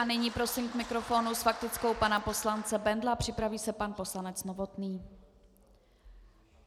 A nyní prosím k mikrofonu s faktickou pana poslance Bendla, připraví se pan poslanec Novotný.